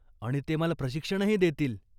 आणि ते मला प्रशिक्षणही देतील.